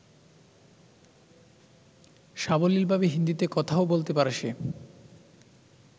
সাবলীলভাবে হিন্দীতে কথাও বলতে পারে সে।